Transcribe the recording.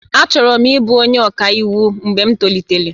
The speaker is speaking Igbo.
Achọrọ m ịbụ onye ọka iwu mgbe m tolitere